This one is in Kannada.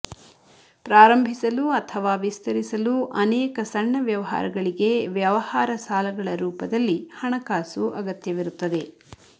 ಪ್ರಾರಂಭಿಸಲು ಅಥವಾ ವಿಸ್ತರಿಸಲು ಅನೇಕ ಸಣ್ಣ ವ್ಯವಹಾರಗಳಿಗೆ ವ್ಯವಹಾರ ಸಾಲಗಳ ರೂಪದಲ್ಲಿ ಹಣಕಾಸು ಅಗತ್ಯವಿರುತ್ತದೆ